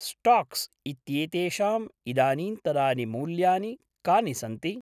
Stocks इत्येतेषां इदानीन्तनानि मूल्यानि कानि सन्ति?